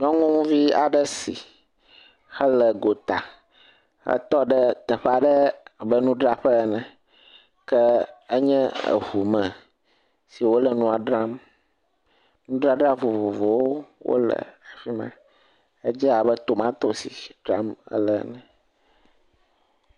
Nyɔnuvi aɖe si hele gota. Etɔ ɖe teƒe aɖe abe nudraƒe ene. Ke enye eŋume si wòle nua dram. Nudzadra vovovowo wole afi ma. Edze abe tomatosi dzram ele ene.